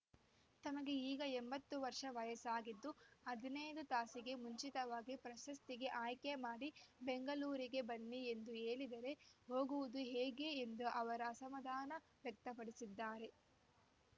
ತಮಗೆ ಈಗ ಎಂಬತ್ತು ವರ್ಷ ವಯಸ್ಸಾಗಿದ್ದು ಹದಿನೈದು ತಾಸಿಗೆ ಮುಂಚಿತವಾಗಿ ಪ್ರಶಸ್ತಿಗೆ ಆಯ್ಕೆ ಮಾಡಿ ಬೆಂಗಳೂರಿಗೆ ಬನ್ನಿ ಎಂದು ಹೇಳಿದರೆ ಹೋಗುವುದು ಹೇಗೆ ಎಂದು ಅವರ ಅಸಮಾಧಾನ ವ್ಯಕ್ತಪಡಿಸಿದ್ದಾರೆ